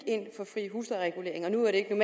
ind for fri huslejeregulering nu er det